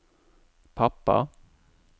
pappa